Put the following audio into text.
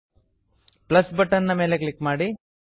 plus button plus button ನ ಮೇಲೆ click ಮಾಡಿ